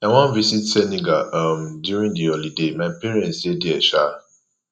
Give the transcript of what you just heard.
i wan visit senegal um during the holiday my parents dey there um